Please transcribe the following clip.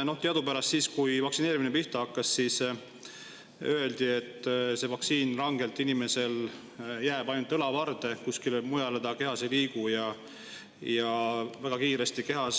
Teadupärast siis, kui vaktsineerimine pihta hakkas, öeldi, et see vaktsiin jääb inimesel ainult õlavarde, kuskile mujale ta kehas ei liigu, ja väga kiiresti hajub